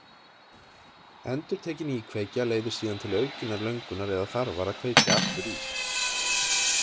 Endurtekin íkveikja leiðir síðan til aukinnar löngunar eða þarfar að kveikja aftur í.